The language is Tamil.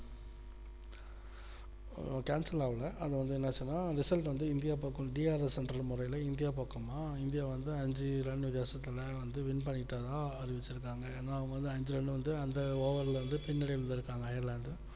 cancel ஆகல அது வந்து என்ன ஆச்சுன்னா result வந்து இந்தியா பக்கம் DROcentrel முறையில இந்தியா பக்கம்மா இந்தியா வந்து ஐந்து run வித்தியாசத்தில் win பண்ணிட்டதா அறிவிச்சுருக்காங்க ஏன்னா அவங்க வந்து ஐந்து run வந்து அந்த over ல பின்னடைவுல இருக்காங்க airland